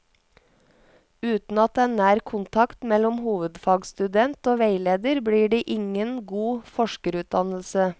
Uten at det er nær kontakt mellom hovedfagsstudent og veileder, blir det ingen god forskerutdannelse.